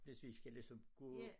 Hvis vi skal ligesom gå